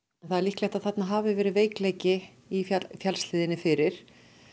það er líklegt að þarna hafi verið veikleiki í fjallshlíðinni fyrir